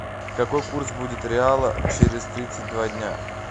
какой курс будет реала через тридцать два дня